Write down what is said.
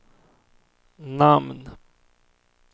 namn